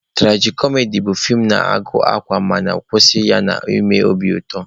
Turaji-kọmedi bụ feem na-agụ akwa mana nkwụsị ya na-eme obi ụtọ